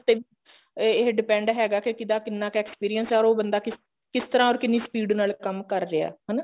ਤੇ ਇਹ depend ਹੈਗਾ ਕੇ ਕਿਦਾ ਕਿੰਨਾ ਕ experience ਹੈ or ਉਹ ਬੰਦਾ ਕਿਸ ਤਰ੍ਹਾਂ or ਕਿੰਨੀ speed ਨਾਲ ਕੰਮ ਕਰ ਰਿਹਾ ਹਨਾ